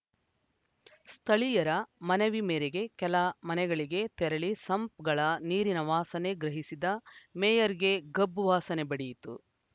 ಸ್ಥಳೀಯರ ಮನವಿ ಮೇರೆಗೆ ಕೆಲ ಮನೆಗಳಿಗೆ ತೆರಳಿ ಸಂಪ್‌ಗಳ ನೀರಿನ ವಾಸನೆ ಗ್ರಹಿಸಿದ ಮೇಯರ್‌ಗೆ ಗಬ್ಬು ವಾಸನೆ ಬಡಿಯಿತು